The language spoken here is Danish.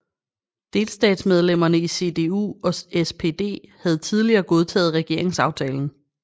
Delstatsmedlemmerne i CDU og SPD havde tidligere godtaget regeringsaftalen